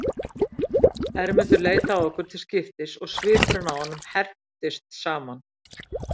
Hermundur leit á okkur til skiptis og svipurinn á honum herptist saman.